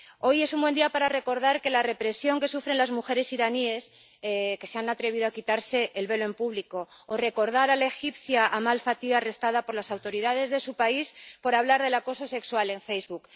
Hoy es un buen día para recordar la represión que sufren las mujeres iraníes que se han atrevido a quitarse el velo en público o para recordar a la egipcia Amal Fathy, arrestada por las autoridades de su país por hablar del acoso sexual en Facebook.